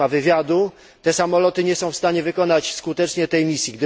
Nie ma wywiadu, te samoloty nie są w stanie wykonać skutecznie swej misji.